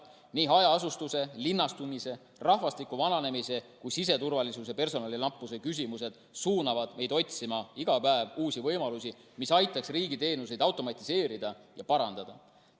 Nii hajaasustuse, linnastumise, rahvastiku vananemise kui ka siseturvalisuse personali nappuse küsimused suunavad meid otsima iga päev uusi võimalusi, mis aitaksid riigi teenuseid automatiseerida ja parandada.